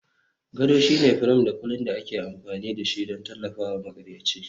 Gado shine firam da kulin da ake amfani da shi don tallafawa maƙaryaci.